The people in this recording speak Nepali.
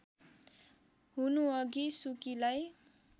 हुनुअघि सुकीलाई